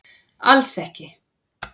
Alls ekki